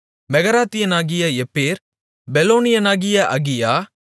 மெகராத்தியனாகிய எப்பேர் பெலோனியனாகிய அகியா